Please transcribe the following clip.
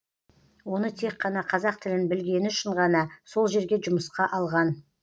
оны тек қана қазақ тілін білгені үшін ғана сол жерге жұмысқа алған